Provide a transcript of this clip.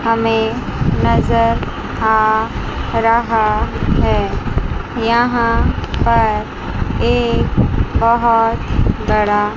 हमें नजर आ रहा है यहां पर एक बहोत बड़ा--